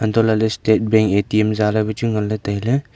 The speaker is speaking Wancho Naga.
hantohle state bank A_T_M ja ley pha chu nganley tailey.